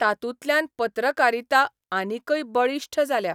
तातूंतल्यान पत्रकारिता आनिकय बळिश्ठ जाल्या.